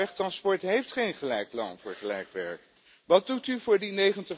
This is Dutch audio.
Internationaal wegtransport heeft geen gelijk loon voor gelijk werk. Wat doet u voor